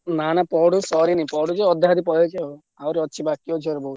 ନାଁ ନାଁ ପଢା ସରିନି ପଢୁଛି ଅଧା ଅଧି ସରିଲାଣି ଆହୁରି ଅଛି ବାକି ଅଛି ବହୂତ।